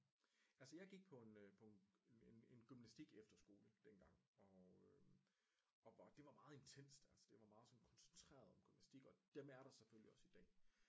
Altså jeg gik på en øh en gymnastiskefterskole dengang og øh og hvor det var meget intenst altså det var meget sådan koncentreret om gymnastisk og dem er der selvfølgelig også i dag